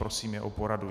Prosím je o poradu.